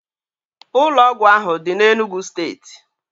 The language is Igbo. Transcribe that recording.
Ụlọ ọgwụ ahụ dị n'Enugwu steeti